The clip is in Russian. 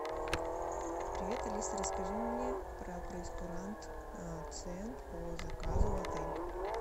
привет алиса расскажи мне про прейскурант цен по заказу в отеле